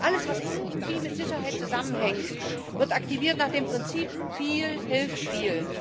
Alles, was irgendwie mit Sicherheit zusammenhängt, wird aktiviert nach dem Prinzip viel hilft viel.